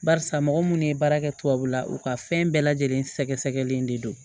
Barisa mɔgɔ munnu ye baara kɛ tubabula u ka fɛn bɛɛ lajɛlen sɛgɛsɛgɛlen de don